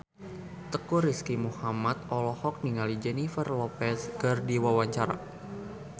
Teuku Rizky Muhammad olohok ningali Jennifer Lopez keur diwawancara